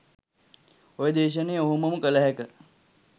ඔය දේශනය ඔහොමම කළ හැක.